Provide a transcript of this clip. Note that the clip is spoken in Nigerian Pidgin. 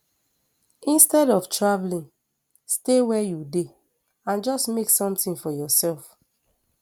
instead of travelling stay wia you dey and just make somtin for yoursef